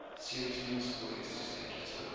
series principal executive